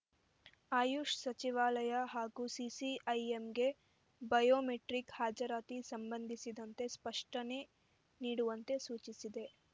ಆಯುಷ್ ಸಚಿವಾಲಯ ಹಾಗೂ ಸಿಸಿಐಎಂಗೆ ಬಯೋಮೆಟ್ರಿಕ್ ಹಾಜರಾತಿ ಸಂಬಂಧಿಸಿದಂತೆ ಸ್ಪಷ್ಟನೆ ನೀಡುವಂತೆ ಸೂಚಿಸಿದೆ